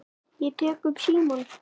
Ég tek upp símann.